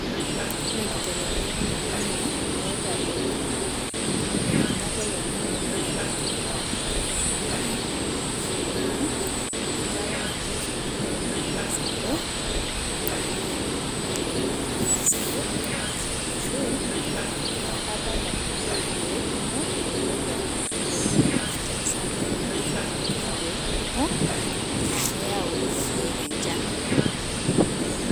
Ore enkibelekenyat oloing'ange, naitadotie inkibelekenyat oloing'ange naitadoitie endaa natumi tolchamba, naa, enkata nati enkolong oleng sapuk ,mitokini atum endaa sapuk ashu enkata nadungitoi ilkeek kumok. mitokini atum enchan sapuk. niaku kifaa neuni ilkeek kumok na keyau lelo kek enchan.